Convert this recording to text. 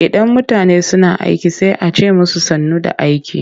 Idan mutane suna aiki sai a ce musu sannu da aiki.